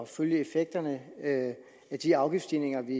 følge effekterne af de afgiftsstigninger vi